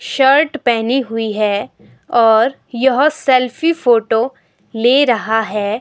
Shirt पहनी हुई हैऔर यह सेल्फी फोटो ले रहा है।